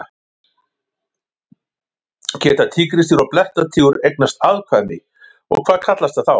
Geta tígrisdýr og blettatígur eignast afkvæmi og hvað kallast það þá?